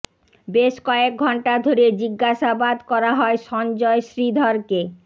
বেশ কয়েক ঘণ্টা ধরে জিজ্ঞাসাবাদ করা হয় সঞ্জয় শ্রীধরকে